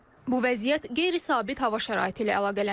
Bu vəziyyət qeyri-sabit hava şəraiti ilə əlaqələndirilir.